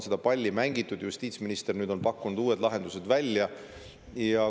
Seda palli on mängitud ja justiitsminister on nüüd pakkunud uued lahendused välja.